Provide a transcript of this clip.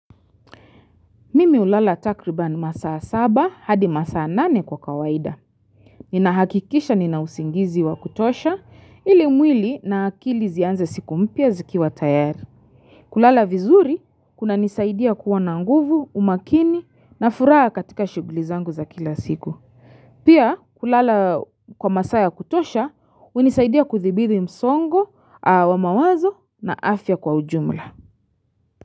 Mimi hulala takribani masaa saba hadi masaa nane kwa kawaida. Ninahakikisha ninausingizi wa kutosha ili mwili na akili zianze siku mpya zikiwa tayari. Kulala vizuri kunanisaidia kuwa na nguvu, umakini na furaha katika shughuli zangu za kila siku. Pia kulala kwa masaa ya kutosha hunisaidia kuthibidhi msongo, wa mawazo na afya kwa ujumla.